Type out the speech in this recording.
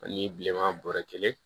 Ani bileman bɔrɛ kelen